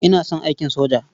Ina son aikin soja.